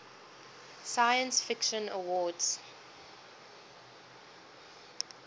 science fiction awards